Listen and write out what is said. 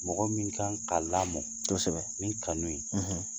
Mɔgɔ min kan ka lamɔ kosɛbɛ ni kanu ye